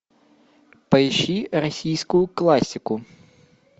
поищи российскую классику